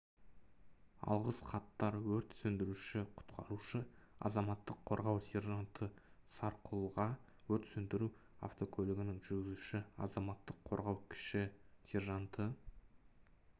алғыс хаттар өрт сөндіруші-құтқарушы азаматтық қорғау сержанты сарқұлға өрт сөндіру автокөлігінің жүргізушісі азаматтық қорғау кіші сержанты